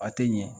A tɛ ɲɛ